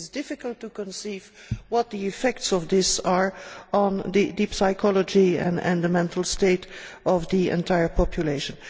It is difficult to conceive what the effects of this are on the deep psychology and the mental state of the entire population.